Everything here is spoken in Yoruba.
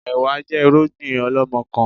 Ẹ̀wá jẹ́ irúgbìn ọlọmọkan